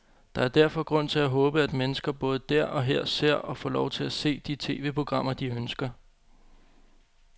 Der er derfor grund til at håbe, at mennesker både der og her ser, og får lov til at se, de tv-programmer, de ønsker.